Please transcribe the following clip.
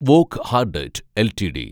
Wockhardt LTD